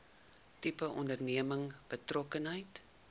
tipe onderneming betrokkenheid